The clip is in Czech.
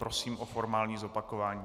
Prosím o formální zopakování.